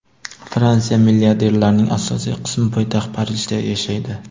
Fransiya milliarderlarining asosiy qismi poytaxt Parijda yashaydi.